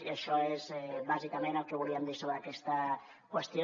i això és bàsicament el que volíem dir sobre aquesta qüestió